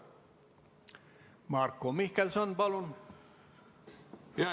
Marko Mihkelson, palun!